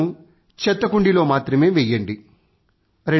చెత్తను చెత్త కుండీలో మాత్రమే వెయ్యండి